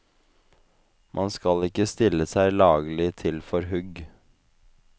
Man skal ikke stille seg laglig til for hugg.